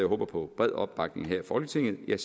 håber på bred opbakning her i folketinget